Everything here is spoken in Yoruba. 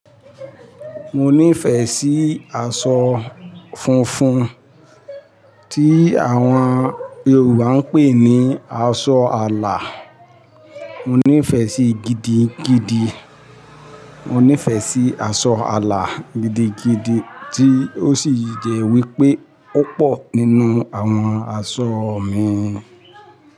Mo nífẹ̀ẹ́ sí aṣọ funfun tí àwọn Yorùbá ń pè ní aṣọ àlà. Mo nífẹ̀ẹ́ sí gidigidi. Mo nífẹ̀ẹ́ sí aṣọ àlà gidigidi tí ó sì jẹ́ wípé ó pọ̀ nínú àwọn aṣọ mi.